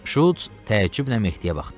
Şults təəccüblə Mehdiyə baxdı.